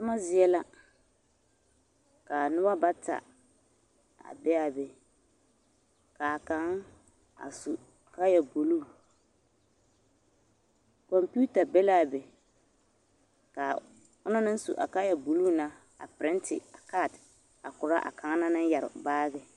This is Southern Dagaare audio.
Toma zie la k'a noba bata a be a be k'a kaŋ a su kaaya buluu kɔmpiita be l'a be ka onaŋ naŋ su kaaya buluu na a perente a kaate a korɔ a kaŋa naŋ yɛre baagi.